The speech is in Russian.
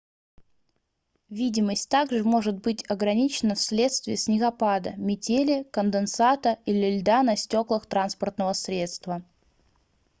видимость также может быть ограничена вследствие снегопада метели конденсата или льда на стёклах транспортного средства